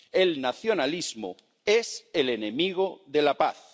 El nacionalismo es el enemigo de la paz.